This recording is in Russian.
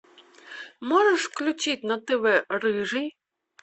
можешь включить на тв рыжий